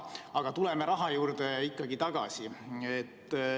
Aga tuleme raha juurde ikkagi tagasi.